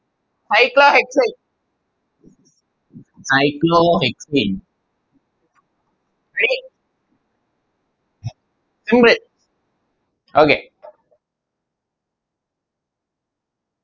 Hydra hexane Hydro hexane Okay